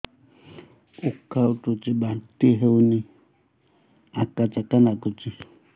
ଉକା ଉଠୁଚି ବାନ୍ତି ହଉନି ଆକାଚାକା ନାଗୁଚି